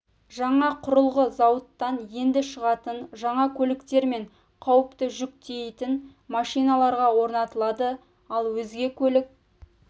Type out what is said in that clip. жаңа құрылғы зауыттан енді шығатын жаңа көліктер мен қауіпті жүк тиейтін машиналарға орнатылады ал өзге көлік